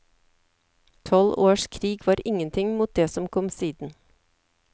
Tolv års krig var ingenting mot det som kom siden.